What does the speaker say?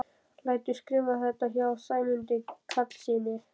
Lætur skrifa þetta hjá Sæmundi Karlssyni.